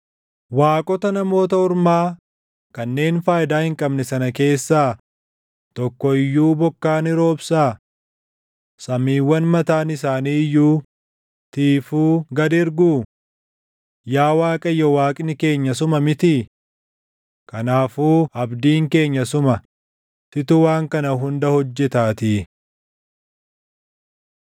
Waaqota Namoota Ormaa kanneen faayidaa hin qabne sana keessaa // tokko iyyuu bokkaa ni roobsaa? Samiiwwan mataan isaanii iyyuu tiifuu gad erguu? Yaa Waaqayyo Waaqni keenya suma mitii? Kanaafuu abdiin keenya suma; situ waan kana hunda hojjetaatii.